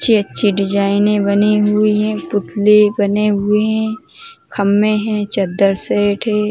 अच्छे अच्छे डिजाइनें बने हुए हैं। पुतले बने हुए हैं। खंभे है। चदर से --